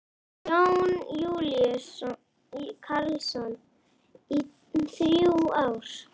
Jón Júlíus Karlsson: Í þrjú ár?